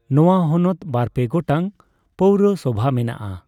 ᱱᱚᱣᱟ ᱦᱚᱱᱚᱛ ᱵᱟᱨ ᱯᱮ ᱜᱚᱴᱟᱝ ᱯᱚᱣᱨᱚᱥᱚᱵᱷᱟ ᱢᱮᱱᱟᱜᱼᱟ ᱺ